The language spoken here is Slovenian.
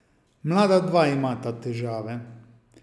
Mlada dva imata težave.